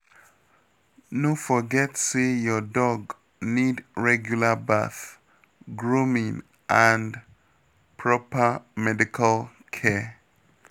No forget say your dog need regular bath, grooming and proper medical care.